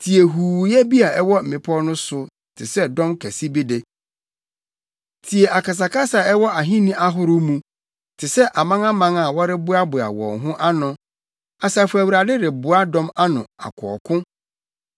Tie huuyɛ bi a ɛwɔ mmepɔw no so te sɛ dɔm kɛse bi de! Tie akasakasa a ɛwɔ ahenni ahorow mu, te sɛ amanaman a wɔreboaboa wɔn ho ano! Asafo Awurade reboa dɔm ano akɔ ɔko.